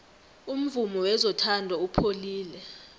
umvumo wezothando upholile